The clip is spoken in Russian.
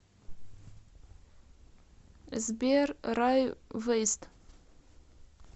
сбер рай вэйст